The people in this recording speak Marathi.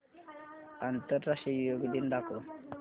आंतरराष्ट्रीय योग दिन दाखव